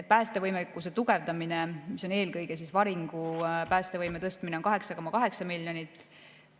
Päästevõimekuse tugevdamisele, mis on eelkõige varingupäästevõime tõstmine, on 8,8 miljonit.